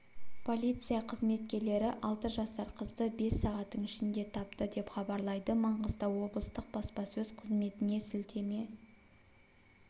полиция қызметкерлері алты жасар қызды бес сағаттың ішінде тапты деп хабарлайды маңғыстау облыстық баспасөз қызметіне сілтеме